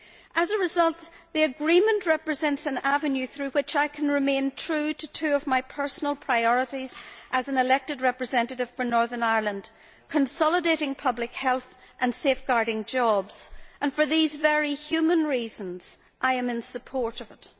As a result, the Agreement represents an avenue through which I can remain true to two of my personal priorities as an elected representative for Northern Ireland consolidating public health and safeguarding jobs and for these very human reasons I am in support of it.